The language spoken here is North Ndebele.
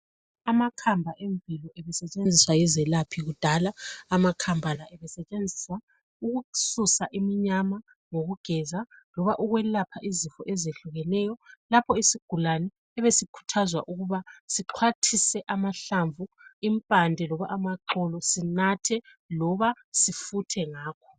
Amakhamba emvelo ebesetshenziswa yizelaphi kudala. Amakhamba la ebesetshenziswa ukususa iminyama lokugeza loba ukwelapha izifo ezehlukeneyo lapho isigulane sibe sikhuthazwa ukuba sixhwathise amahlamvu, impande loba amaxolo sinathe loba sifuthe ngako.